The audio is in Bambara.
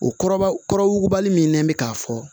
O kɔrɔ ba kɔrɔ wugubali min nɛn bɛ k'a fɔ